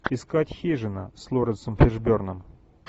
искать хижина с лоуренсом фишберном